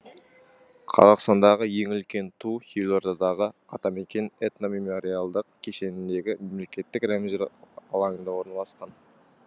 қазақстандағы ең үлкен ту елордадағы атамекен этномемориалдық кешеніндегі мемлекеттік рәміздер алаңында орналасқан